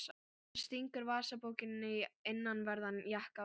Hann stingur vasabókinni í innanverðan jakkavasa.